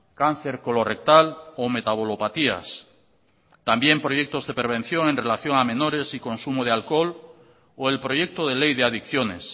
cáncer colorrectal o metabolopatías también proyectos de prevención en relación a menores y consumo de alcohol o el proyecto de ley de adicciones